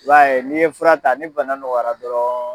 I b'a ye n'i ye fura ta ni bana nɔgɔyara dɔrɔn